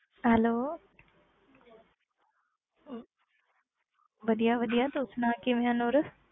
Hello ਵਧੀਆ ਵਧੀਆ ਤੂੰ ਸੁਣਾ ਕਿਵੇਂ ਆਂ ਨੂਰ?